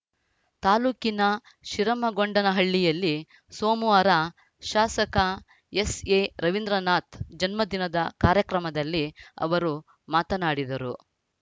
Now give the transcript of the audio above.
ತಾಲೂಕಿನ ಶಿರಮಗೊಂಡನಹಳ್ಳಿಯಲ್ಲಿ ಸೋಮವಾರ ಶಾಸಕ ಎಸ್‌ಎರವೀಂದ್ರನಾಥ್‌ ಜನ್ಮದಿನದ ಕಾರ್ಯಕ್ರಮದಲ್ಲಿ ಅವರು ಮಾತನಾಡಿದರು